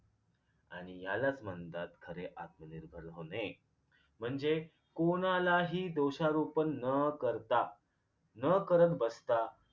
आणि यालाच म्हणतात खरे आत्मनिर्भर होणे म्हणजे कोणालाही दोषारोपण न करता न करत बसता